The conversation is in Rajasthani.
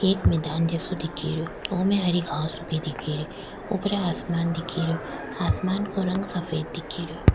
एक मैदान जैसो दिख रो ओमे हरी घास उगी दिख री ऊपर आसमान दिखे रा आसमान का रंग सफ़ेद दिख रो।